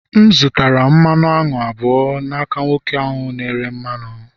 M zụtara mmanụ aṅụ abụọ n'aka nwoke ahụ na-ere mmanụ